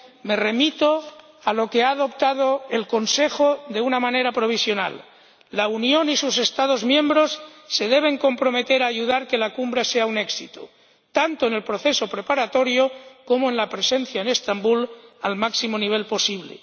me remito a lo que ha adoptado el Consejo de una manera provisional la Unión y sus Estados miembros se deben comprometer a ayudar a que la Cumbre sea un éxito, tanto en el proceso preparatorio como en la presencia en Estambul al máximo nivel posible.